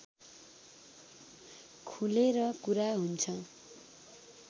खुलेर कुरा हुन्छ